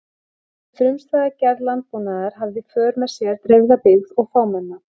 Þessi frumstæða gerð landbúnaðar hafði í för með sér dreifða byggð og fámenna.